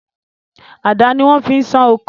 Àdá ni wọ́n fi ń sán oko.